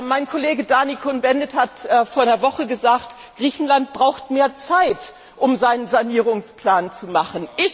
Mein Kollege Daniel Cohn Bendit hat vor einer Woche gesagt, Griechenland braucht mehr Zeit, um seinen Sanierungsplan zu machen.